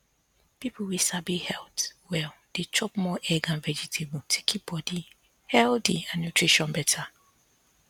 people wey sabi health well dey chop more egg and vegetable to keep body healthy and nutrition better